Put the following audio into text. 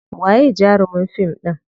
Waye jarumin fim ɗin?